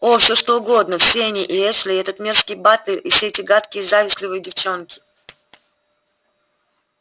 о все что угодно все они и эшли и этот мерзкий батлер и все эти гадкие завистливые девчонки